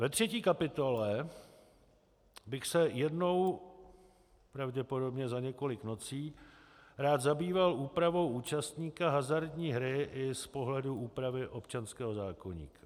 Ve třetí kapitole bych se jednou pravděpodobně za několik nocí rád zabýval úpravou účastníka hazardní hry i z pohledu úpravy občanského zákoníku.